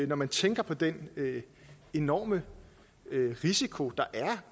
når man tænker på den enorme risiko der er